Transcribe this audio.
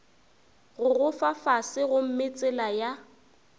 gogoba fase gomme tsela ya